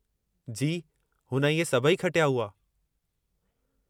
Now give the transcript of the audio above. जी, हुन इहे सभई खटिया हुआ।